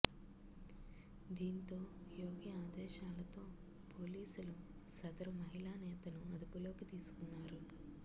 దీంతో యోగి ఆదేశాలతో పోలీసులు సదరు మహిళా నేతను అదుపులోకి తీసుకున్నారు